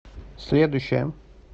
следующая